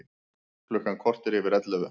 Klukkan korter yfir ellefu